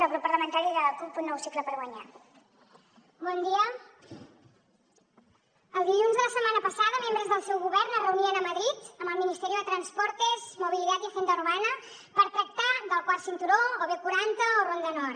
el dilluns de la setmana passada membres del seu govern es reunien a madrid amb el ministerio de transportes movilidad y agenda urbana per tractar del quart cinturó o b quaranta o ronda nord